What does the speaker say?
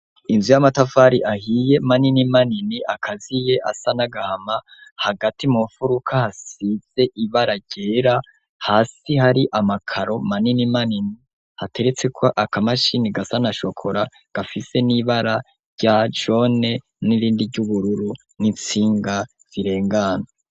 Inzu y'amatafari ahiye manini manini akaziye asa nagahama, hagati mu mfuruka hasize ibara ryera hasi hari amakaro manini manini hateretseko aka mashini gasa nashokora gafise n'ibara rya jone n'irindi ry'ubururu n'intsinga zirengana.